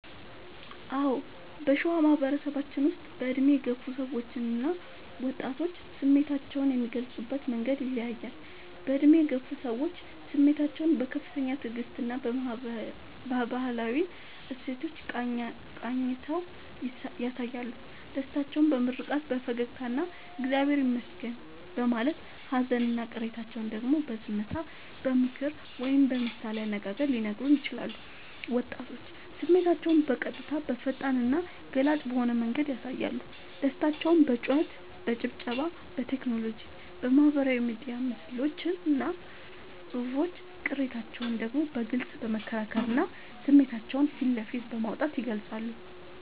አዎ: በሸዋ ማህበረሰባችን ውስጥ በዕድሜ የገፉ ሰዎችና ወጣቶች ስሜታቸውን የሚገልጹበት መንገድ ይለያያል፦ በዕድሜ የገፉ ሰዎች፦ ስሜታቸውን በከፍተኛ ትዕግስትና በባህላዊ እሴቶች ቃኝተው ያሳያሉ። ደስታቸውን በምርቃት፣ በፈገግታና «እግዚአብሔር ይመስገን» በማለት: ሃዘንና ቅሬታቸውን ደግሞ በዝምታ: በምክር ወይም በምሳሌ አነጋገር ሊነግሩን ይችላሉ። ወጣቶች፦ ስሜታቸውን በቀጥታ: በፈጣንና ገላጭ በሆነ መንገድ ያሳያሉ። ደስታቸውን በጩኸት: በጭብጨባ: በቴክኖሎጂ (በማህበራዊ ሚዲያ ምስሎችና ጽሑፎች): ቅሬታቸውን ደግሞ በግልጽ በመከራከርና ስሜታቸውን ፊት ለፊት በማውጣት ይገልጻሉ።